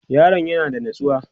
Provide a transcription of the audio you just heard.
yaron ya na da natsuwa?